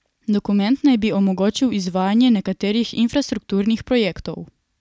Dokument naj bi omogočil izvajanje nekaterih infrastrukturnih projektov.